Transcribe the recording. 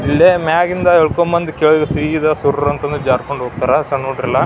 ಇಲ್ಲೇ ಮ್ಯಾಲಿಂದ ಇಳ್ಕೊಂಡ್ ಬಂದ ಕೆಳಗ್ ಸಿದ ಸುರರ ಅಂತಾನೂ ಜಾರ್ಕೊಂಡ್ ಹೋಗ್ತಾರೆ ಸನ್ ಹುಡಗ್ರೆಲ್ಲಾ --